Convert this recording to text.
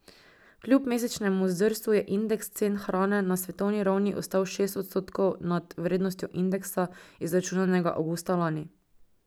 Kljub mesečnemu zdrsu je indeks cen hrane na svetovni ravni ostal šest odstotkov nad vrednostjo indeksa, izračunanega avgusta lani.